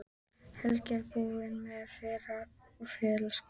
Helgi er búinn með fyrra fallinu í skólanum.